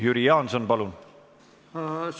Jüri Jaanson, palun!